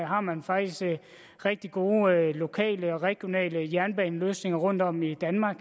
har man faktisk rigtig gode lokale og regionale jernbaneløsninger rundtom i danmark